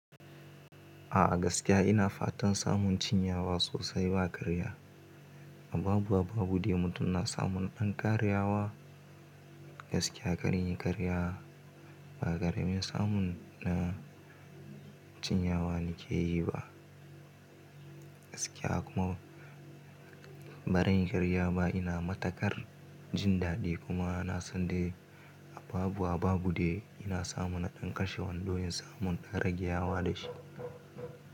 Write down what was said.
A'a gaskiya ina fatan samun cinyawa sosai ba karya. Habu Habu demu suna samun ɗan karyawa gaskiya kar in yi karya ba. Kare mai samun na cinyawa na ke yi ba gaskiya kuma ba zan yi karya ba. Ina matakar jin daɗi kuma ina son dai ababu ababu dai ina samun ɗan kashewan don na samun ɗan ragyawa da shi.